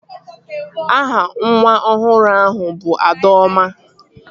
Aha nwa ọhụrụ ahụ bụ Adaọma